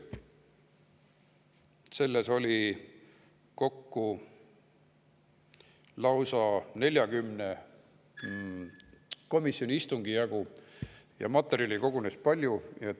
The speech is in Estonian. Kokku oli lausa 40 komisjoni istungit ja materjali kogunes palju.